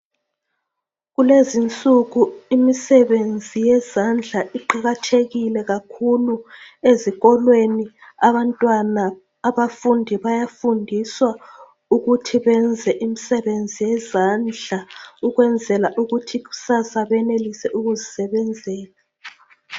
Keluzinsuku imisebenzi yezandla iqakathekile kakhulu ezikolweni abantwana abafundi bayafundiswa ukuthi benze imisebenzi yezandla ukwenzela ukuthi kusasa benelise ukuzisebenzela